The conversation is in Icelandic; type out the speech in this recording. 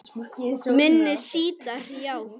Minni sítar, já